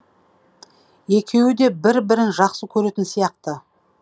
екеуі де бір бірін жақсы көретін сияқты